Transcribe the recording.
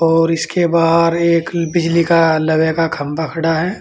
और इसके बाहर एक बिजली का लवे का खंभा खड़ा है।